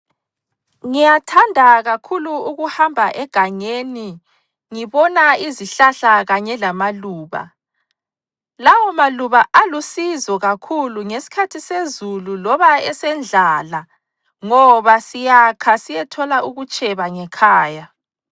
Ngiyathanda kakhulu ukuhamba egangeni ngibona izihlahla kanye lamaluba. Lawo maluba alusizo kakhulu ngesikhathi sezulu loba esendlala ngoba siyakha siyethola ukutsheba ngekhaya.